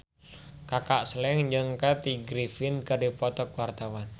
Kaka Slank jeung Kathy Griffin keur dipoto ku wartawan